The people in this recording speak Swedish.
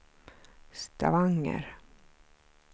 Stavanger